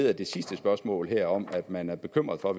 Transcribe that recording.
af det sidste spørgsmål her om at man er bekymret for